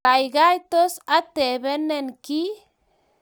Gaigai, tos atebenin giy?